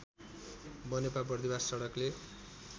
Banepa Bardibas सडकले